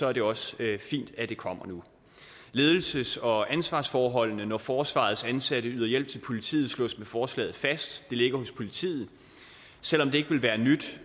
er det også fint at det kommer nu ledelses og ansvarsforholdene når forsvarets ansatte yder hjælp til politiet slås med forslaget fast det ligger hos politiet selv om det ikke vil være nyt